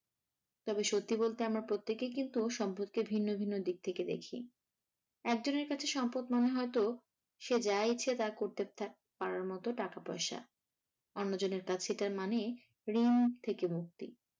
তবেসত্যি বলতে আমরা প্রত্যেকেই কিন্তু সম্পত্তির ভিন্ন ভিন্ন দিক থেকে দেখি। একজনের কাছে সম্পদ মানে হয়তো সে যা ইচ্ছা তাই করতে পারার মতো টাকা-পয়সা আর অন্যজনের কাছে তার মানে ঋণ থেকে মুক্তি।